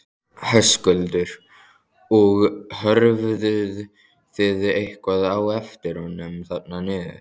Höskuldur: Og horfðuð þið eitthvað á eftir honum þarna niður?